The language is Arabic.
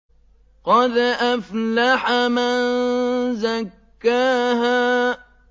قَدْ أَفْلَحَ مَن زَكَّاهَا